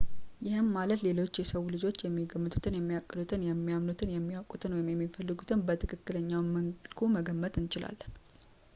ይህም ማለት ሌሎች የሰው ልጆች የሚገምቱትን ፣የሚያቅዱትን ፣ የሚያምኑትን፣ የሚያውቁትን ወይም የሚፈልጉትን በትክክለኛው መልኩ መገመት እንችላለን